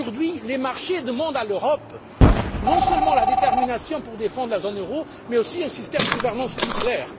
Aujourd'hui, les marchés demandent à l'Europe non seulement de la détermination pour défendre la zone euro, mais aussi un système de gouvernance plus clair.